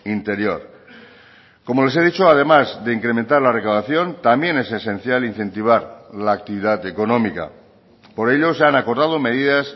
interior como les he dicho además de incrementar la recaudación también es esencial incentivar la actividad económica por ello se han acordado medidas